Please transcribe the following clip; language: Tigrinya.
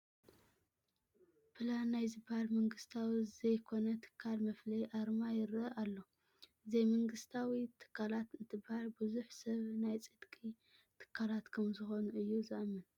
ፕላን ናይ ዝበሃል መንግስታዊ ዘይኮነ ትካል መፍለዪ ኣርማ ይርአ ኣሎ፡፡ ዘይምንግስታዊ ትካላት እንትበሃል ብዙሕ ሰብ ናይ ጽድቂ ትካላት ከምዝኾኑ እዩ ዝአምን፡፡